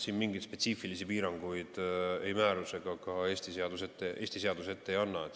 Siin mingeid spetsiifilisi piiranguid ei määrus ega ka Eesti seadus ette ei anna.